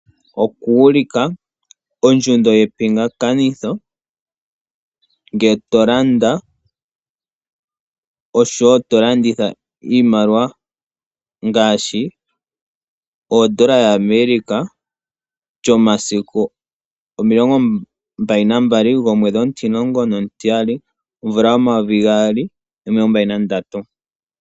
Okuulika ondjundo yepingakanitho ngele to landa noshowo to landitha iimaliwa ngaashi odola yaAmerica, lyomasiku omilongo mbali nagaali gomwedhi omutimulongo nomutiyali omvula yomayovi gaali nomilongombali nandatu.